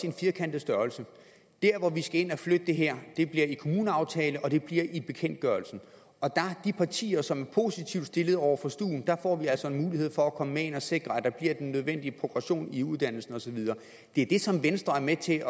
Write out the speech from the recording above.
en firkantet størrelse der hvor vi skal ind og flytte det her bliver i kommuneaftalen og det bliver i bekendtgørelsen de partier som er positivt indstillet over for stuen får altså en mulighed for at komme med ind og sikre at der bliver den nødvendige progression i uddannelsen og så videre det er det som venstre er med til